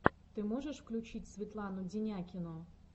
ты можешь включить светлану денякину